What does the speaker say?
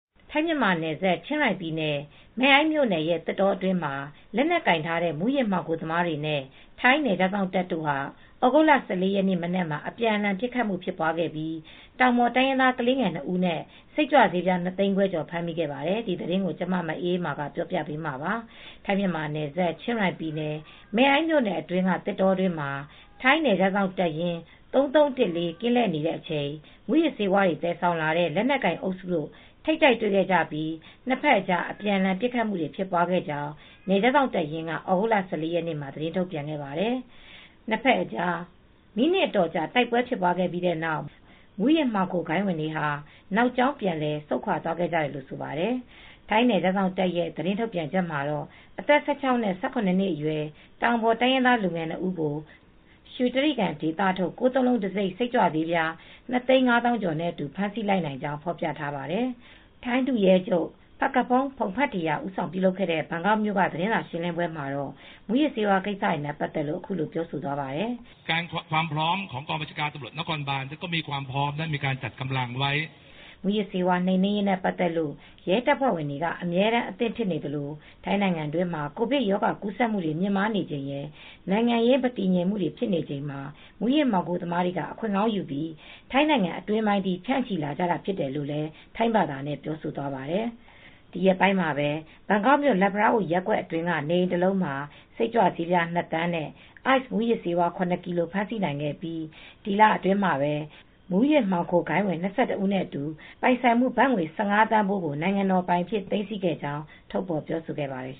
ထိုင်း- မြန်မာနယ်စပ် ချင်းရိုင်ပြည်နယ် မဲ့အိုင်းမြို့နယ်ရဲ့ သစ်တောအတွင်းမှာ လက်နက်ကိုင်ထားတဲ့ မူးယစ်မှောင်ခိုသမားတွေနဲ့ ထိုင်းနယ်ခြားစောင့်တပ် တို့ဟာ သြဂုတ်လ ၁၄ ရက်နေ့ မနက်မှာ အပြန်အလှန် ပစ်ခတ်မှု ဖြစ်ပွားခဲ့ပြီး တောင်ပေါ်တိုင်းရင်းသား ကလေးငယ်၂ဦးနဲ့ စိတ်ကြွဆေးပြား၂သိန်းခွဲကျော် ဖမ်းမိခဲ့ပါတယ်။ ထိုင်းအခြေစိုက် ဗွီအိုအေ သတင်းထောက် မအေးအေးမာ ပြောပြပေးမှာပါ။ ထိုင်း - မြန်မာ နယ်စပ် ချင်းရိုင်ပြည်နယ် မဲအိုင်း မြို့နယ်အတွင်းက သစ်တောတွင်းမှာ ထိုင်းနယ်ခြားစောင့်တပ်ရင်း ၃၃၁၄ ကင်း လှည့်နေတဲ့ အချိန်မှာ မူးယစ်ဆေးဝါးတွေ သယ်ဆောင်လာကြတဲ့ လက်နက်ကိုင် အုပ်စုတို့ ထိပ်တိုက်တွေ့ခဲ့ကြပြီး နှစ်ဖက်အကြား အပြန်အလှန် ပစ်ခတ်မှုတွေ ဖြစ်ပွားခဲ့ကြောင်း နယ်ခြား စောင့်တပ်ရင်းက သြဂုတ်လ ၁၄ ရက်နေ့မှာပဲ သတင်းထုတ်ပြန်ခဲ့ပါတယ်။ နှစ်ဖက်အကြား မိနစ်အတော်ကြာ တိုက်ပွဲဖြစ်ပွားပြီးတဲ့နောက် မူးယစ်မှောင်ခိုဂိုဏ်းဝင် တွေဟာ နောက်ကြောင်းပြန်လည်ဆုတ်ခွာ သွားခဲ့ကြတယ်လို့ဆိုပါတယ်။ ထိုင်းနယ်ခြားစောင့်တပ်ရဲ့ သတင်းထုတ်ပြန်ချက်မှာတော့ အသက် ၁၆ နဲ့ ၁၇ နှစ်အရွယ် တောင်ပေါ်တိုင်းရင်းသား လူငယ် ၂ ဦးကို ရွှေတြိဂံဒေသထုတ် ၉၉၉ တံဆိပ် စိတ်ကြွဆေးပြား ၂၅၁,၄၀၀ ကျော်နဲ့အတူ ဖမ်းဆီးလိုက်နိုင်ကြောင်း ဖော်ပြထားပါတယ်။ ထိုင်းဒုရဲချုပ် Phakphong Pongphetra ဦးဆောင်ပြုလုပ်တဲ့ ဘန်ကောက်မြို့က သတင်းစာရှင်းလင်းပွဲမှာတော့ မူယစ်ဆေးဝါး ကိစ္စတွေနဲ့ ပတ်သက်လို့ အခုလို ပြောသွားပါတယ်။ မူးယစ်ဆေးဝါး နှိမ်နင်းရေးနဲ့ ပတ်သက်လို့ ရဲတပ်ဖွဲဝင်ကတော့ အမြဲတမ်း အသင့်ဖြစ်နေသလို ထိုင်းနို်င်ငံမှာ ကိုဗစ်ကပ်ရောဂါ ကူးစက်မှုတွေ မြင့်မားနေချိန်ရယ်၊ နိုင်င်ငံရေး မတည်ငြိမ်မှုတွေ ဖြစ်ချိန်မှာ မူးယစ်မှောင်ခိုသမားတွေက အခွင့်ကောင်းယူပြီး ထိုင်းနိုင်ငံအတွင်းပိုင်းထိ ဖြန့်ချိလာကြတာ ဖြစ်တယ်လို့ ထိုင်းဘာသာနဲ့ ပြောဆိုသွားတာ ဖြစ်ပါတယ်။ ဒီရက်ပိုင်းမှာပဲ ဘန်ကောက်မြို့ လတ်ဖလားအို ရပ်ကွက် အတွင်းက နေအိမ် တလုံးမှာ စိတ်ကြွဆးပြား ၂ သန်းနဲ့ Ice မူးယစ်ဆေး ၇ ကီလိုဂရမ် ဖမ်းဆီးနိုင်ခဲ့ပြီး ဒီလအတွင်း မှာ မှောင်ခိုဂိုဏ်းဝင် ၂၁ ဦးနဲ့ အတူ ပိုင်ဆိုင်မှု ဘတ်ငွေ ၁၅ သန်းဖိုးကို နိုင်ငံတော်ပိုင် အြဖ်စ သိမ်းဆည်းခဲ့ကြောင်းလည်း ပြောဆိုခဲ့ပါတယ်